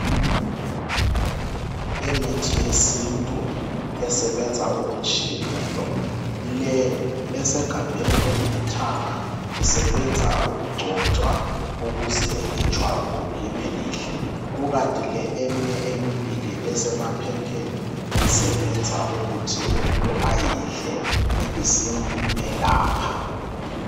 Imithi yesintu esebenza okutshiyeneyo. Le esegabheni elilithanga isebenza ukugcotshwa ukuze ijwabu libe lihle, kukanti le eminye emibili esemaphepheni isebebza ukuthi umuntu ayidle ibisimelapha.